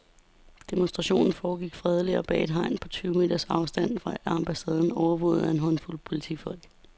Demonstrationen foregik fredeligt og bag et hegn på tyve meters afstand af ambassaden, overvåget af en håndfuld politifolk.